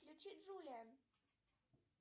включи джулиан